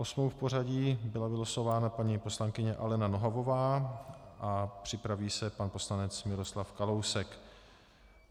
Osmou v pořadí byla vylosována paní poslankyně Alena Nohavová a připraví se pan poslanec Miroslav Kalousek.